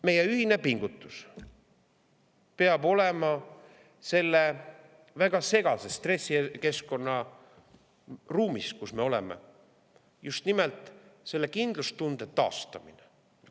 Meie ühine pingutus selles väga segases stressikeskkonnas, kus me oleme, peab olema just nimelt kindlustunde taastamine.